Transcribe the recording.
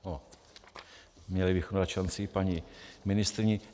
Měli bychom dát šanci paní ministryni.